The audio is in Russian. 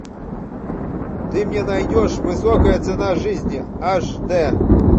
ты мне найдешь высокая цена жизни аш дэ